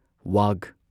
ꯋꯥꯒ